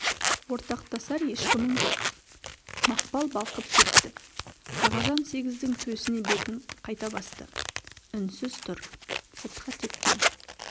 ортақтасар ешкімің жоқ мақпал балқып кетті ағажан сегіздің төсіне бетін қайта басты үнсіз тұр сыртқа тепкен